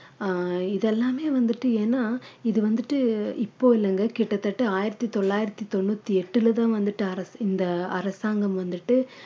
ஆஹ் இதெல்லாமே வந்துட்டு ஏன்னா இது வந்துட்டு இப்போ இல்லைங்க கிட்டத்தட்ட ஆயிரத்தி தொள்ளாயிரத்தி தொண்ணூத்தி எட்டுல தான் வந்துட்டு அரசா~ இந்த அரசாங்கம் வந்துட்டு